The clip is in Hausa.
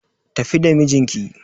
Tafi da mijinki